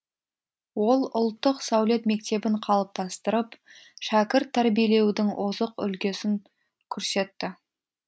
ол ұлттық сәулет мектебін қалыптастырып шәкірт тәрбиелеудің озық үлгісін көрсетті